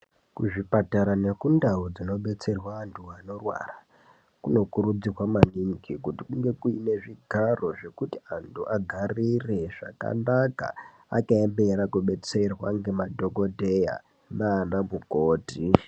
Kuzvipatara nekundau dzinobetserwa antu anorwara, kunokurudzirwa maningi kuti kunge kuine zvigaro zvekuti antu agarire zvakanaka, akaemera kubetserwa ngemadhokodheya naanamukoti.